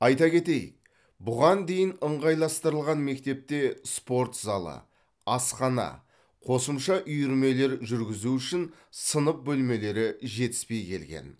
айта кетейік бұған дейін ыңғайластырылған мектепте спорт залы асхана қосымша үйірмелер жүргізу үшін сынып бөлмелері жетіспей келген